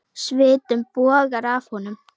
Svitinn bogar af honum.